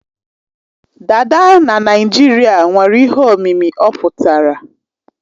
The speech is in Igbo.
Dada na Naijiria nwere ihe omimi ọ pụtara.